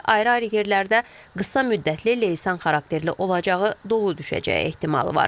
Ayrı-ayrı yerlərdə qısa müddətli leysan xarakterli olacağı, dolu düşəcəyi ehtimalı var.